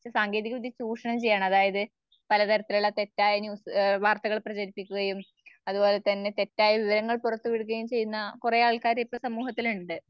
അത് സാങ്കേതികവിദ്യ ചൂഷണം ചെയ്യുവാണ് അതായത്‌ പലതരത്തിലുള്ള തെറ്റായ ന്യൂ വാർത്തകൾ പ്രചരിപ്പിക്കുകയും അതുപോലെ തെറ്റായ വിവരങ്ങൾ പുറത്തുവിടുകയും ചെയ്യുന്ന കുറേആൾക്കാര് ഇപ്പ സമൂഹത്തിലുണ്ട്.